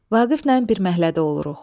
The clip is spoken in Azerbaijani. Vaqiflə bir məhəllədə oluruq.